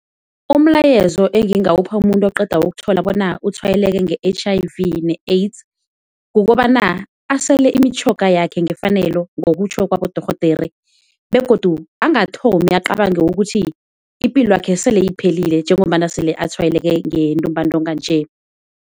Umlayezo engingawupha umuntu oqeda ukuthola bona utshwayeleke nge-H_I_V ne-AIDS kukobana asele imitjhoga yakhe ngefanelo ngokutjho kwabodorhodere, begodu angathomi acabange ukuthi ipilo yakhe sele iphelile njengombana sele atshwayeleke ngentumbantonga nje.